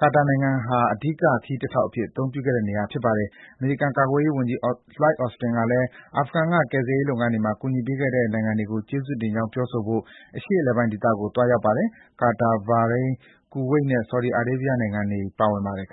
ကာတာနိုင်ငံဟာ အဓိက ခရီးတထောက် အသုံးပြုခဲ့တဲ့ နေရာဖြစ်ပါတယ်။ အမေရိကန် ကာကွယ်ရေး ဝန်ကြီး Lloyd Austin ကလည်း အာဖဂန်က ကယ်ဆယ်ရေးလုပ်ငန်းတွေမှာ ကူညီပေးခဲ့တဲ့ နိုင်ငံတွေကို ကျေးဇူးတင်ကြောင်းပြောဆိုဖို့ အရှေ့အလယ်ပိုင်း ဒေသကို သွားရောက်ပါတယ်။ ကာတာ၊ ဘာရိန်း၊ ကူဝိတ်နဲ့ ဆော်ဒီအာရေးဗီးယား နိုင်ငံတွေကို ပါဝင်ပါတယ်။ ပင်